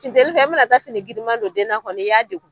Funteni fɛ e mana taa fini girinma don den kɔnɔ i y'a degun